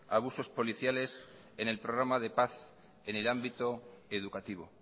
abusos policiales en el programa de paz en el ámbito educativo